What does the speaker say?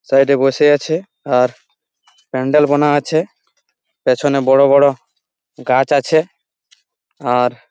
side -এ বসে আছে আর প্যান্ডেল বানা আছে পেছনে বড়ো বড়ো গাছ আছে আর--